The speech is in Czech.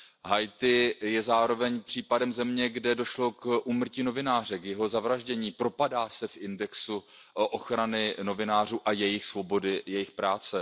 Haiti je zároveň případem země, kde došlo k úmrtí novináře, k jeho zavraždění, propadá se v indexu ochrany novinářů a svobody jejich práce.